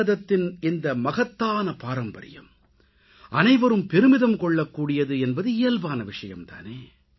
பாரதத்தின் இந்த மகத்தான பாரம்பரியம் அனைவரும் பெருமிதம் கொள்ளக்கூடியது என்பது இயல்பான விஷயம் தானே